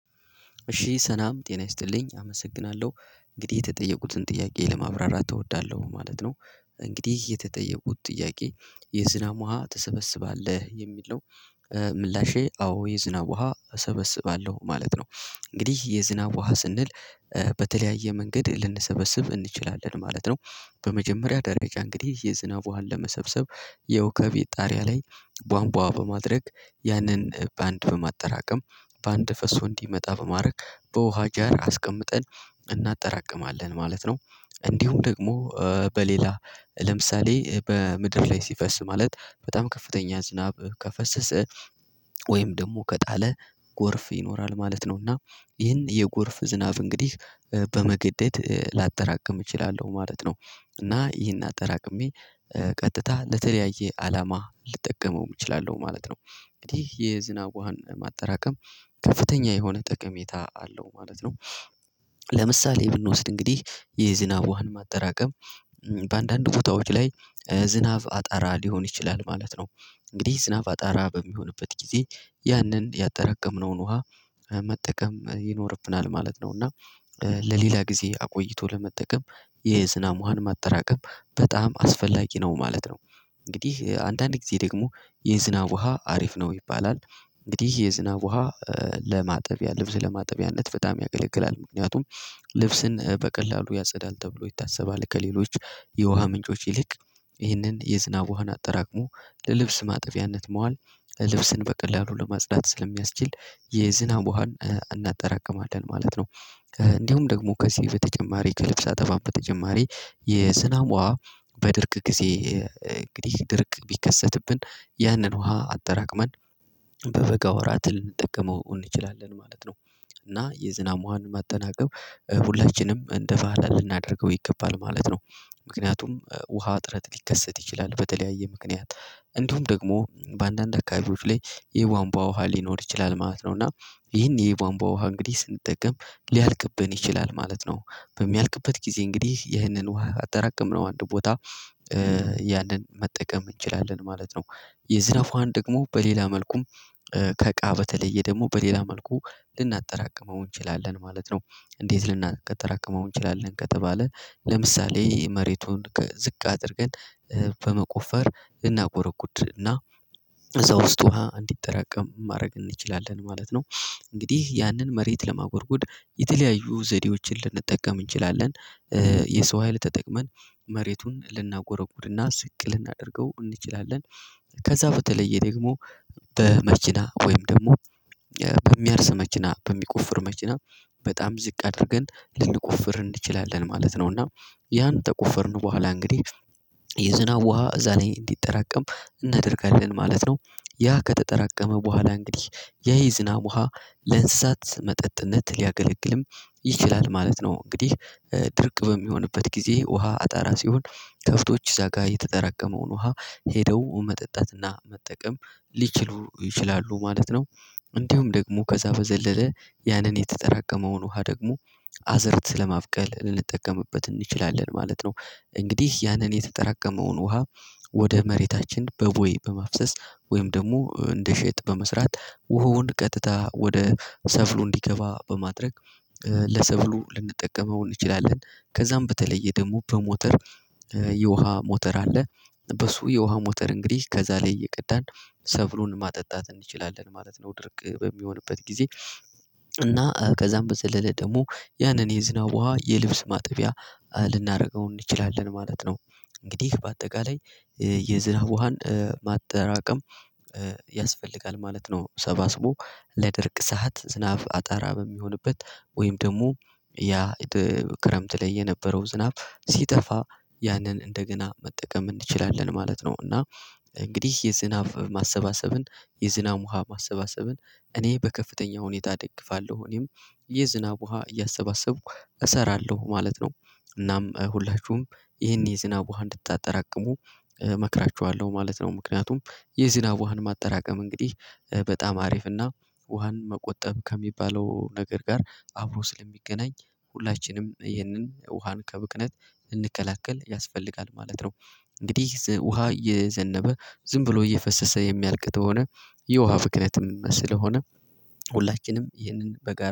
እሺ ሰናም ጤና ይስጥልኝ አመሰግናለሁ እንግዲህ የተጠየቁትን ጥያቄ ለማብራራት እወዳለሁ ማለት ነው። እንግዲህ የተጠየቁት ጥያቄ የዝናብ ውሃ ተሰበስባለህ የሚል ነው። ምላሼ አዎ የዝናብ ውሃ እሰበስባለሁ ማለት ነው። እንግዲህ የዝናብ ውሃ ስንል በተለያየ መንገድ ልንሰበስብ እንችላለን ማለት ነው። በመጀመሪያ ደረጃ እንግዲህ የዝናብ ውሃ ለመሰብሰብ ያው ከቤት ጣሪያ ላይ ቧንቧ በማድረግ ያንን ባንድ በማጠራቀም ባንድ ፈሶ እንዲመጣ በማድረግ በውሃ ጃር አስቀምጠን እናጠራቅማለን ማለት ነው። እንዲሁም ደግሞ በሌላ ለምሳሌ በምድር ላይ ሲፈስ ማለት በጣም ከፍተኛ ዝናብ ከፈሰሰ ወይም ደግሞ ከጣለ ጎርፍ ይኖራል ማለት ነው እና ይህን የጎርፍ ዝናብ እንግዲህ በመገደድ እችላለሁ ማለት ነው። እና ይሄን አጠራቅሜ ቀጥታ ለተለያየ አላማ ልጠቀመው እችላለሁ ማለት ነው። እንግዲህ የዝናብ ውሃን ማጠራቀም ከፍተኛ የሆነ ጥቅሜታ አለው ማለት ነው። ለምሳሌ ብንወስድ እንግዲህ የዝናብ ውሃን ማጠራቀም በአንዳንድ ቦታዎች ላይ ዝናብ አጣራ ሊሆን ይችላል ማለት ነው። እንግዲህ ዝናብ አጣራ በሚሆንበት ጊዜ ያንን ያጠረቀምነውን ውሃ መጠቀም ይኖርብናል ማለት ነው እና ለሌላ ጊዜ አቆይቶ ለመጠቀም የዝናብ ውሃን ማጠራቀም በጣም አስፈላጊ ነው ማለት ነው። እንግዲህ አንዳንድ ጊዜ ደግሞ የዝናብ ውሃ አሪፍ ነው ይባላል እንግዲህ የዝናብ ውሃ ለማጠቢያ ልብስ ለማጠቢያነት በጣም ያገለግላል ምክንያቱም ልብስን በቀላሉ ያጸዳል ተብሎ ይታሰባል ከሌሎች የውሃ ምንጮች ይልቅ ይሄንን የዝናብ ውሃን አጠራቅሞ ለልብስ ማጥፊያነት መዋል ለልብስን በቀላሉ ለማጽዳት ስለሚያስችል የዝናብ ውሃን እናጠራቅማለን ማለት ነው። እንዲሁም ደግሞ ከዚህ በተጨማሪ ከልብስ ጠባብ በተጨማሪ የዝናብ ውሃ በድርቅ ጊዜ እንግዲህ ድርቅ ቢከሰትብን ያንን ውሃ አጠራቅመን በበጋ ወራት ልንጠቀመው እንችላለን ማለት ነው። እና የዝናም ውሀንን ማጠናቀብ ሁላችንም እንደ ፋህላን ልናደርገው ይገባል ማለት ነው። ምክንያቱም ውሃ አጥረት ሊከሰት ይችላል በተለያየ ምክንያት እንዲሁም ደግሞ በአንዳንድ አካባቢዎች ላይ የቧንቧ ውሃ ሊኖር ይችላል ማለት ነው። እና ይህን የቧንቧ ውሃ እንግዲህ ስንጠቀም ሊያልቅብን ይችላል ማለት ነው። በሚያልቅበት ጊዜ እንግዲህ ይህንን ውሃ አጠራቀምነው አንድ ቦታ ያንን መጠቀም እንችላለን ማለት ነው። የዝናብ ዉሃን ደግሞ በሌላ መልኩም ከቃ በተለየ ደግሞ በሌላ መልኩ ልናጠራቅመው እንችላለን ማለት ነው። እንዴት? ልናቀጥራቅመው እንችላለን ከተባለ ለምሳሌ መሬቱን ከዝቅ አድርገን በመቆፈር እናጎረጉድና እዛ ውስጥ ውሃ እንዲጠራቀም ማድረግ እንችላለን ማለት ነው። እንግዲህ ያንን መሬት ለማጎርጎድ የተለያዩ ዘዴዎችን ልንጠቀም እንችላለን። የሰው ሀይል ተጠቅመን መሬቱን ልናጎረጉርና ስቅ ልናደርገው እንችላለን። ከዛ በተለየ ደግሞ በመችና ወይም ደግሞ በሚያርስ መችና በሚቆፍር መችና በጣም ዝቅ አድርገን ልንቁፍር እንችላለን ማለት ነው እና ያን ተቀፎርን በኋላ እንግዲህ የዝናብ ውሃ እዛ ላይ እንዲጠራቀም እናደርጋለን ማለት ነው። ያ ከተጠራቀመ በኋላ እንግዲህ ያ ዝናብ ውሃ ለእንስሳት መጠጥነት ሊያገለግልም ይችላል ማለት ነው። እንግዲህ ድርቅ በሚሆንበት ጊዜ ውሃ አጣራ ሲሆን ከፍቶች እዛ ጋር የተጠራቀመውን ውሃ ሄደው መጠጣትና መጠቀም ሊችሉ ይችላሉ ማለት ነው። እንዲሁም ደግሞ ከዛ በዘለለ ያንን የተጠራቀመውን ውሃ ደግሞ አዘርት ስለማብቀል ልንጠቀምበት እንችላለን ማለት ነው። እንግዲህ ያንን የተጠራቀመውን ውሃ ወደ መሬታችን በቦይ በማፍሰስ ወይም ደግሞ እንደ ሸጥ በመስራት ውሃውን ቀጥታ ወደ ሰብሉ እንዲገባ በማድረግ ለሰብሉ ልንጠቀመው እንችላለን። ከዛም በተለየ ደግሞ በሞተር የውሃ ሞተር አለ። በሱ የውሃ ሞተር እንግዲህ ከዛ ላይ እየቀዳን ሰብሉን ማጠጣት እንችላለን ማለት ነው። ድርቅ በሚሆንበት ጊዜ እና ከዛም በዘለለ ደግሞ ያንን የዝናብ ውሃ የልብስ ማጠቢያ ልናደርገው እንችላለን ማለት ነው። እንግዲህ በአጠቃላይ የዝራብ ውሃን ማጠራቀም ያስፈልጋል ማለት ነው። ሰባስቦ ለድርቅ ሰዓት ዝናብ አጠራ በሚሆንበት ወይም ደግሞ ያ ክረምት ላይ የነበረው ዝናብ ሲጠፋ ያንን እንደገና መጠቀም እንችላለን ማለት ነው። እና እንግዲህ የዝናብ ማሰባሰብን የዝናብ ውሃ ማሰባሰብን እኔ በከፍተኛ ሁኔታ እደግፋለሁ እኔም የዝናብ ውሃ እያሰባሰብኩ እሰራለሁ ማለት ነው። እናም ሁላችሁም ይሄን የዝናብ ውሃ እንድታጠራቅሙ እመክራቸዋለሁ ማለት ነው። ምክንያቱም የዝናብ ውሃን ማጠራቀም እንግዲህ በጣም አሪፍና ውሃን መቆጠብ ከሚባለው ነገር ጋር አብሮ ስለሚገናኝ ሁላችንም ይህንን ውሃን ከብክነት እንከላከል ያስፈልጋል ማለት ነው። እንግዲህ ውሃ የዘነበ ዝም ብሎ እየፈሰሰ የሚያልቅ ከሆነ የውሃ ፍክነትም ስለሆነ ሁላችንም ይህንን በጋራ